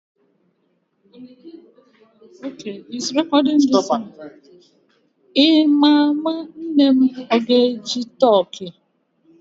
Ị ma ma nne m o ga-eji toki?